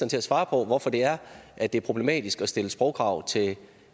til at svare på hvorfor det er at det er problematisk at stille sprogkrav til